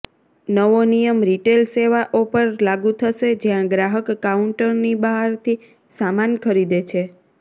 નવો નિયમ રિટેલસેવાઓ પર લાગુ થશે જ્યાં ગ્રાહક કાઉન્ટરની બહારથી સામાન ખરીદે છે